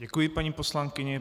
Děkuji paní poslankyni.